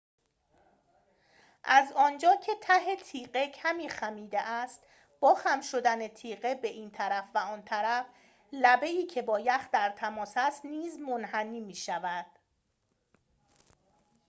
از آنجا که ته تیغه کمی خمیده است با خم شدن تیغه به این طرف و آن طرف لبه ای که با یخ در تماس است نیز منحنی می‌شود